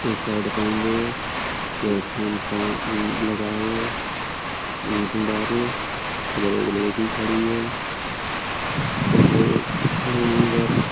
T shirt पहन ली है। इयरफोन कान लगाये है। उधर एक लड़की खड़ी है। खड़े हैं उधर।